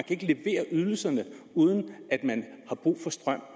kan levere ydelserne uden at man har brug for strøm